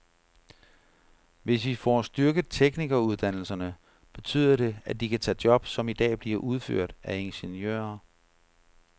Hvis vi får styrket teknikeruddannelserne, betyder det, at de kan tage job, som i dag bliver udført af ingeniører.